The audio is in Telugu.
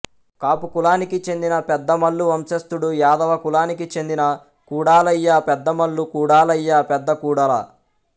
కాపు కులానికి చెందినా పెద్దమల్లు వంశస్థుడు యాదవ కులానికి చెందినా కుడాలయ్య పెద్దమల్లు కుడాలయ్య పెద్దకుడాల